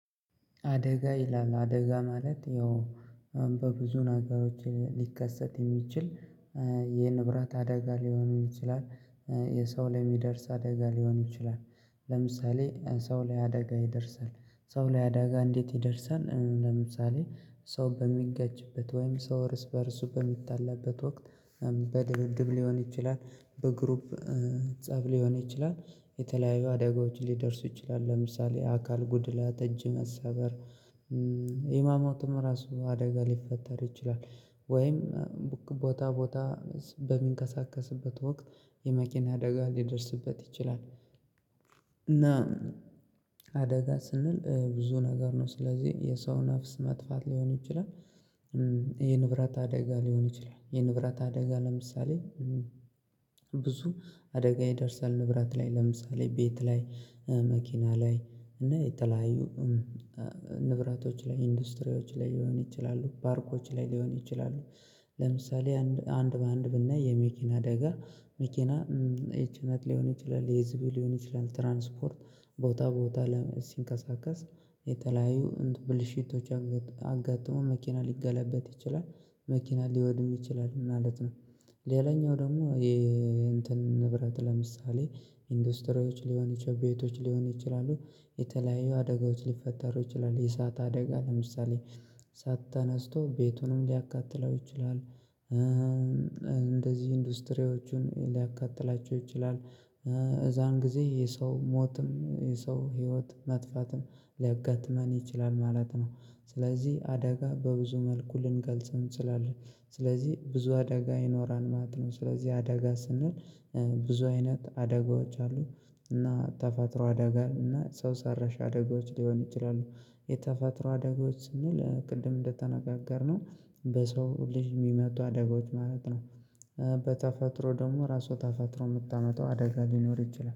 አደጋ ይላል አደጋ ማለት ያው በብዙ ነገሮች ሊከሰት የሚችል ይህን ንብረት አደጋ ሊሆን ይችላል። የሰው ላይ የሚደርስ አደጋ ሊሆን ይችላል። ለምሳሌ ሰው ላይ አደጋ ይደርሳል ሰው ላይ አደጋ እንዴት ይደርሳል? ለምሳሌ ሰው በሚገጅበት ወይም ሰው እርስ በእርሱ በሚታለበት ወቅት። በድብድብ ሊሆን ይችላል በግሩፕ ፀብ ሊሆን ይችላል። የተለያዩ አደጋዎችን ሊደርሱ ይችላል ለምሳሌ አካል ጉድላ ተጅ መሰበር። ህማማቱ ራሱ አደጋ ሊፈጠር ይችላል። ወይም ቦታ ቦታ በሚንቀሳቀስበት ወቅት የመኪና አደጋ ሊደርስበት ይችላል። እና አደጋ ስንል ብዙ ነገር ነው ስለዚህ የሰው ነፍስ መጥፋት ሊሆን ይችላል። የንብረት አደጋ ሊሆን ይችላል የንብረት አደጋ ለምሳሌ። ብዙ አደጋ የደርሳል ንብራት ላይ ለምሳሌ ቤት ላይ መኪና ላይ እና የተለያዩ ንብራቶች ላይ ኢንዱስትሪዎች ላይ ሊሆን ይችላሉ ባርኮች ላይ ሊሆን ይችላሉ። ለምሳሌ አንድ በአንድ ብናይ የመኪና አደጋ መኪና ይቺ እናት ሊሆን ይችላል የዚብል ሊሆን ይችላል ትራንስፖርት ቦታ ቦታ ለመንቀሳቀስ የተለያዩ ብልሽቶች አጋጥሞ መኪና ሊገላበጥ ይችላል መኪና ሊወድም ይችላል ማለት ነው። ሌላኛው ደግሞ። የንብረት ለምሳሌ ኢንዱስትሪዎች ሊሆን ይችላል ቤቶች ሊሆን ይችላሉ የተለያዩ አደጋዎች ሊፈጠሩ ይችላሉ የሳት አደጋ ለምሳሌ እሳትተነስቶ ቤቱንም ሊያካትለው ይችላል። እንደዚህ ኢንዱስትሪዎችን ሊያካትላቸው ይችላል እዛን ጊዜ የሰው ሞትም የሰው ህይወት መጥፋትን ሊያጋጥመን ይችላል ማለት ነው። ስለዚህ አደጋ በብዙ መልኩ ልንገልጽ እንስላለን ስለዚህ ብዙ አደጋ ይኖራል ማለት ነው። ስለዚህ አደጋ ስናል ብዙ አይነት አደጋዎች አሉ። እና ተፈጥሮ አደጋ እና ሰው ሰራሽ አደጋዎች ሊሆን ይችላሉ። የተፈጥሮ አደጋዎች እና ለቅድም እንደተነጋገርነው በሰው ልጅ የሚመጡ አደጋዎች ማለት ነው። በተፈጥሮ ደግሞ ራሱ ተፈጥሮ የምታመጣው አደጋ ሊኖር ይችላል